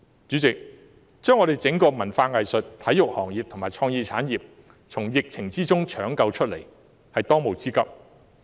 主席，把整個文化、藝術及體育行業和創意產業從疫情中搶救出來，是政府的當務之急。